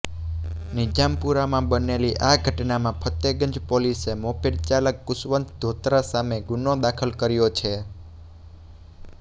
નિઝામપુરામાં બનેલી આ ઘટનામાં ફતેગંજ પોલીસે મોપેડ ચાલક કુશવંત ધોત્રા સામે ગુનો દાખલ કર્યો છે